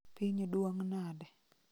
piny duong' nade